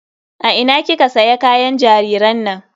A ina kika siya kayan jariran nan?